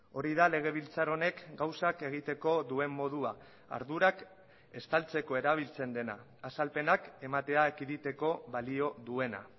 hori da legebiltzar honek gauzak egiteko duen modua ardurak estaltzeko erabiltzen dena azalpenak ematea ekiditeko balio duena